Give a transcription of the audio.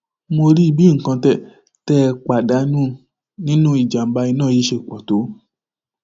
mo rí i bí nǹkan tẹ tẹ ẹ pàdánù nínú ìjàmbá iná yìí ṣe pọ tó